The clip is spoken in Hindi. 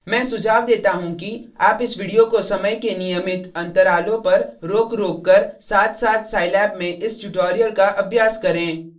मैं सुझाव देता हूँ कि आप इस वीडियो को समय के नियमित अंतरालों पर रोकरोककर साथसाथ scilab में इस ट्यूटोरियल का अभ्यास करें